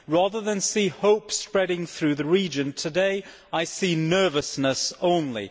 Rather than seeing hope spreading through the region, today I see nervousness only.